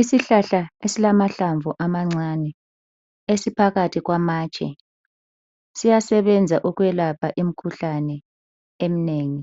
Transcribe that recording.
Isihlahla esilamahlamvu amancane, esiphakathi kwamatshe. Siyasebenza ukwelapha imikhuhlane eminengi.